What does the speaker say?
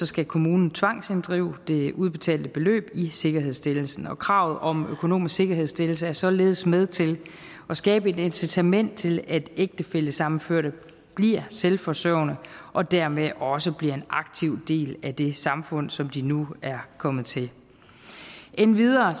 skal kommunen tvangsinddrive det udbetalte beløb i sikkerhedsstillelsen og kravet om økonomisk sikkerhedsstillelse er således med til at skabe et incitament til at ægtefællesammenførte bliver selvforsørgende og dermed også bliver en aktiv del af det samfund som de nu er kommet til endvidere